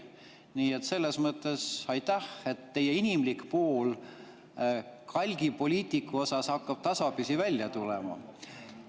Nii et selles mõttes aitäh, et teie inimlik pool kalgi poliitiku osas hakkab tasapisi välja tulema.